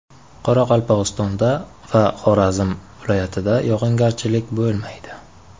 Qoraqalpog‘istonda va Xorazm viloyatida yog‘ingarchilik bo‘lmaydi.